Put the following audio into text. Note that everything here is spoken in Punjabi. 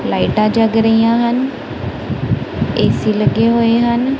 ਲਾਈਟਾਂ ਜਗ ਰਹੀਆਂ ਹਨ ਏ_ਸੀ ਲੱਗੇ ਹੋਏ ਹਨ।